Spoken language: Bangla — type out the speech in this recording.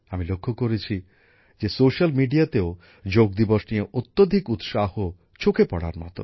সামাজিক মাধ্যমেও চোখে পড়ার মতো যোগ দিবস নিয়ে অত্যধিক উৎসাহ আমি লক্ষ্য করেছি